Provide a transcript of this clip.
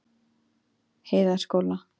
Heiðaskóla